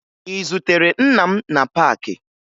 Ị zutere nna m na paakị?